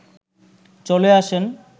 চলে আসেন